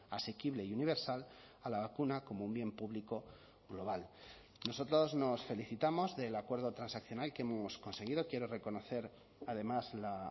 asequible y universal a la vacuna como un bien público global nosotros nos felicitamos del acuerdo transaccional que hemos conseguido quiero reconocer además la